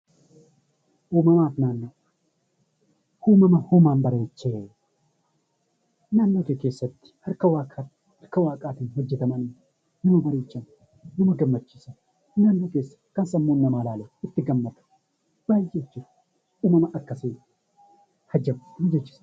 Uumama uumaan bareechee naannoo kee keessatti harka waaqaatiin hojjetaman, nama bareechan, nama gammachiisan, naannoo keessatti kan sammuun namaa ilaalee itti gammadu baay'ee jira. Uumama akkasii ajab nama jechisiisa!